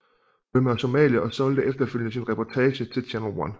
Burma og Somalia og solgte efterfølgende sin reportage til Channel One